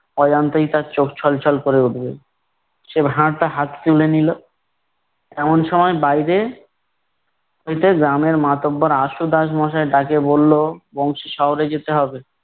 অজান্তেই তার চোখ ছলছল ক'রে উঠবে। সে ভাঁড়টা হাতে তুলে নিলো, এমন সময় বাইরে হইতে গ্রামের মাতব্বর আশু দাস মশাই ডাকিয়া বললো- বংশী শহরে যেতে হবে।